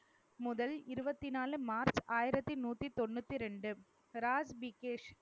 முதல் இருபத்தி நாலு மார்ச் ஆயிரத்தி நூத்தி தொண்ணூத்தி ரெண்டு ராஜ் விகேஷ்